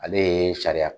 Ale ye sariya